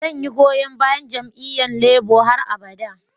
Zan yi goyon bayan jami'yyan Labour har abada.